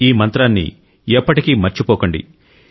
ఈ మంత్రాన్ని ఎప్పటికీ మర్చిపోకండి